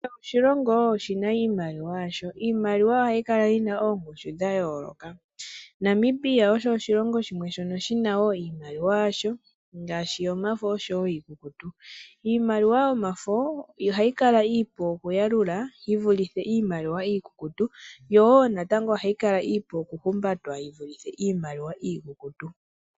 Kehe oshilongo oshina iimaliwa yasho. Iimaliwa ohayi kala yina oongushu dha yooloka. Namibia osho oshilongp shimwe shina wo iimaliwa yasho ngaashi yomafo osho wo iikukutu. Iimaliwa yomafo ohayi kala iipu okuyalulwa yi vulithe iimaliwa iikukutu, yo wo ohayi kala iipu okuhumbatwa yi vulithe iimaliwa iikukutu.